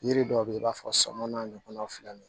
Yiri dɔw be yen i b'a fɔ sama n'a ɲɔgɔnnaw filɛ nin